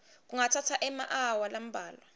kungatsatsa emaawa lambalwa